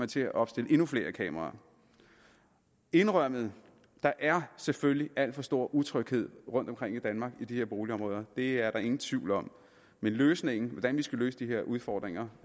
til at opstille endnu flere kameraer indrømmet der er selvfølgelig alt for stor utryghed rundtomkring i danmark i de her boligområder det er der ingen tvivl om men løsningen altså hvordan vi skal løse de her udfordringer